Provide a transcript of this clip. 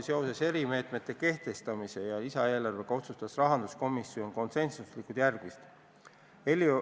Seoses erimeetmete kehtestamise ja lisaeelarvega otsustas rahanduskomisjon konsensusega järgmist.